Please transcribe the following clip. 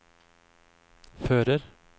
fører